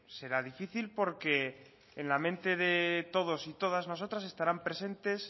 será difícil porque en la mente de todos y todas nosotras estarán presentes